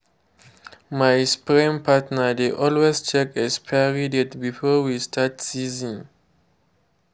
my spraying partner dey always check expiry date before we start season.